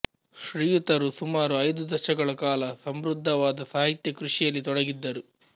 ಶ್ರ್ರೀಯುತರು ಸುಮಾರು ಐದು ದಶಕಗಳ ಕಾಲ ಸಮೃದ್ಧವಾದ ಸಾಹಿತ್ಯ ಕೃಷಿಯಲ್ಲಿ ತೊಡಗಿದ್ದರು